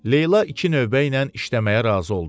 Leyla iki növbəylə işləməyə razı oldu.